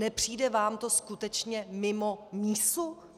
Nepřijde vám to skutečně mimo mísu?